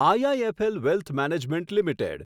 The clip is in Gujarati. IIFL wealth management limited